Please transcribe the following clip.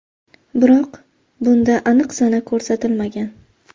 Biroq bunda aniq sana ko‘rsatilmagan.